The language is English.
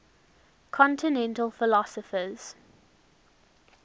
continental philosophers